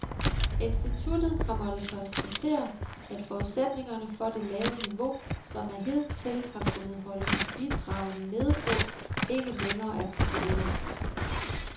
Instituttet har måttet konstatere, at forudsætningerne for det lave niveau, som man hidtil har kunnet holde bidragene nede på, ikke længere er til stede.